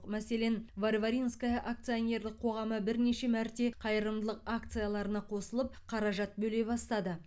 мәселен варваринское акционерлік қоғамы бірнеше мәрте қайырымдылық акцияларына қосылып қаражат бөле бастады